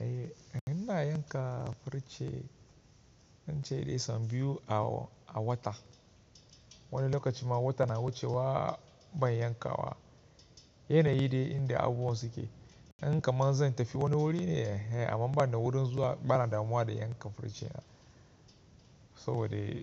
Eh, ina yanka farce, naci da isan biyu a, a wata. Wani lokacin ma wata na wucewa ban yanka wa. Yana yi dai inda abubuwan suke. In kaman zan tafi wani wuri ne, amma in bana da wurin zuwa bana damuwa da yankan farce na. So dai,